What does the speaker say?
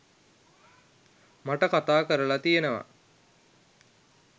මට කතා කරලා තියනවා.